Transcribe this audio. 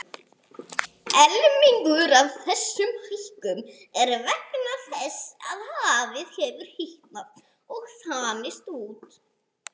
Helmingur af þessari hækkun er vegna þess að hafið hefur hitnað og þanist út.